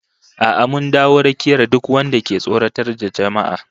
A'a mun dawo rakiyar duk wanda ke tsoratar da jama'a